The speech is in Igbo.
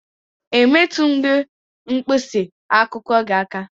E metụghị m mkpịsị akwụkwọ gị aka